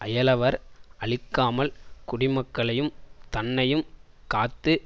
அயலவர் அழிக்காமல் குடிமக்களையும் தன்னையும் காத்து